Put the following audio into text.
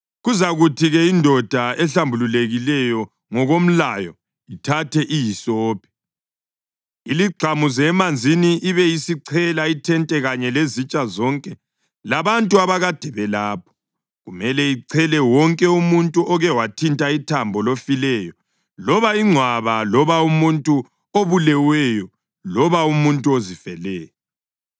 Kuzakuthi-ke indoda ehlambulukileyo ngokomlayo ithathe ihisophi, iligxamuze emanzini ibe isichela ithente kanye lezitsha zonke labantu abakade belapho. Kumele ichele wonke umuntu oke wathinta ithambo lofileyo loba ingcwaba loba umuntu obuleweyo loba umuntu ozifeleyo.